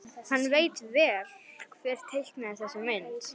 Hann veit vel hver teiknaði þessa mynd.